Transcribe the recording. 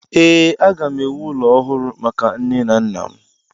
Ee, aga m ewu ụlọ ọhụrụ maka nne na nna m.